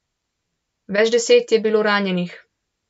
Več deset je bilo ranjenih.